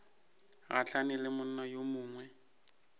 gahlane le monna yo mongwe